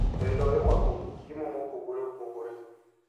Welo irwako gi chiemo mopogore opogore,